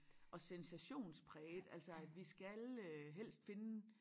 Og sensationspræget altså at vi skal øh helst finde